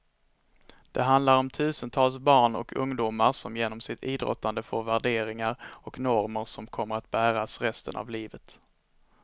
Det handlar om tusentals barn och ungdomar som genom sitt idrottande får värderingar och normer som kommer att bäras resten av livet.